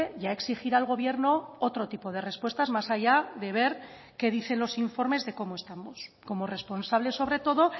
ya exigir al gobierno otro tipo de respuestas más allá de ver qué dicen los informes de cómo estamos como responsable sobre todo